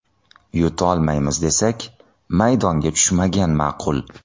Yutolmaymiz desak, maydonga tushmagan ma’qul.